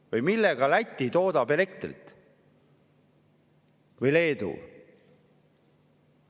Või millega Läti ja Leedu elektrit toodavad?